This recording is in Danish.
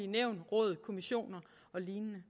nævn råd kommissioner og lignende